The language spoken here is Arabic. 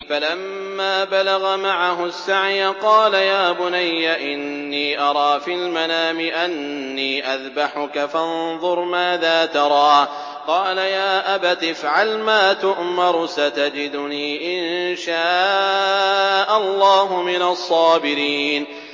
فَلَمَّا بَلَغَ مَعَهُ السَّعْيَ قَالَ يَا بُنَيَّ إِنِّي أَرَىٰ فِي الْمَنَامِ أَنِّي أَذْبَحُكَ فَانظُرْ مَاذَا تَرَىٰ ۚ قَالَ يَا أَبَتِ افْعَلْ مَا تُؤْمَرُ ۖ سَتَجِدُنِي إِن شَاءَ اللَّهُ مِنَ الصَّابِرِينَ